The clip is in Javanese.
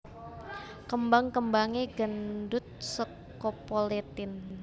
Kembang kembangé ngandhut scopoletin